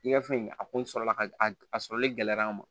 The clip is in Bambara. I ka fɛn a kun sɔrɔla ka a sɔrɔli gɛlɛyara an ma